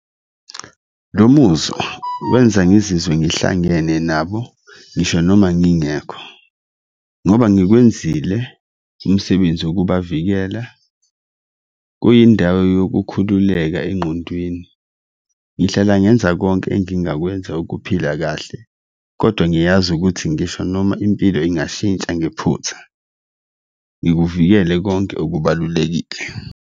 Lo muzwa wenza ngizizwe ngihlangene nabo ngisho noma ngingekho ngoba ngikwenzile umsebenzi wokubavikela, kuyindawo yokukhululeka engqondweni, ngihlala ngenza konke engingakwenza ukuphila kahle, kodwa ngiyazi ukuthi ngisho noma impilo ingashintsha ngephutha ngikuvikele konke okubalulekile.